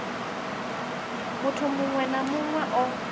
muthu muṅwe na muṅwe o